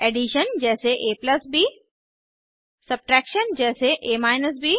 addition जैसे ab subtraction जैसे a ब